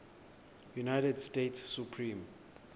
united states supreme